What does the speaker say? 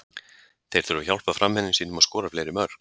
Þeir þurfa að hjálpa framherjum sínum að skora fleiri mörk.